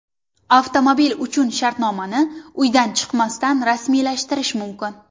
Avtomobil uchun shartnomani uydan chiqmasdan rasmiylashtirish mumkin.